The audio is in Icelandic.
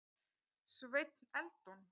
Sveinn Eldon.